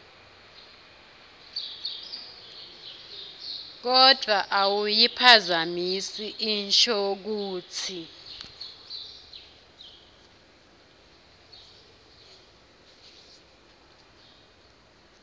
kodvwa awuyiphazamisi inshokutsi